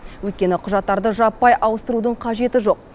өйткені құжаттарды жаппай ауыстырудың қажеті жоқ